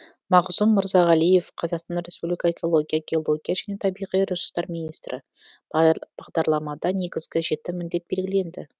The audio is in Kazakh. мағзұм мырзағалиев қазақстан республика экология геология және табиғи ресурстар министрі бағдарламада негізгі жеті міндет белгіленді